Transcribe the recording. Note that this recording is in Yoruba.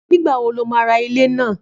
Nígbà wo lo ma ra ilé náà?